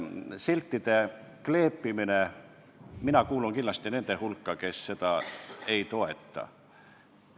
Siltide kleepimine – mina kuulun kindlasti nende hulka, kes seda ei toeta.